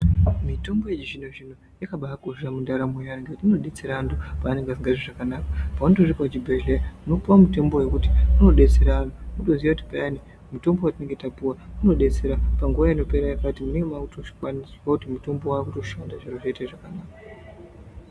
Mitombo yechizvino zvino yakabakosha mundaramo yevantu, inodetsera antu pavanenge asingazwi zvakanaka paunotosvika kuchibhedhlera unopuwa mutombo wekuti unodetsera antu wotoziya kuti payani mutombo watinenge tapuwa unodetsera panguwa inopera yakati munenge makutozvikwanisa kuti mutombo wakutoshanda zviro zvotoite zvakanaka.